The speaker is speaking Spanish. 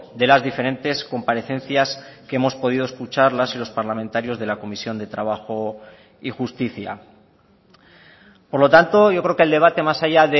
de las diferentes comparecencias que hemos podido escuchar las y los parlamentarios de la comisión de trabajo y justicia por lo tanto yo creo que el debate más allá